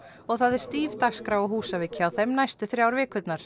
og það er stíf dagskrá á Húsavík hjá þeim næstu þrjár vikurnar